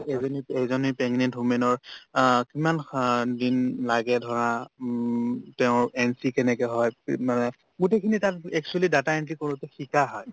এজনীত এজনী pregnant women ৰ অ কিমান সন দিন লাগে ধৰা উম তেওৰ entry কেনেকে হয় free ত মানে গোটেইখিনি তাত actually data entry কৰোতে শিকা হয়